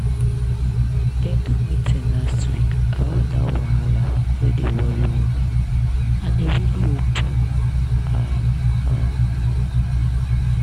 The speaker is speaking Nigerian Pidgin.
dem do meeting last week about that wahala wey dey worry women and e really open eye. um